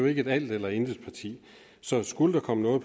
ikke et alt eller intet parti så skulle der komme